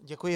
Děkuji.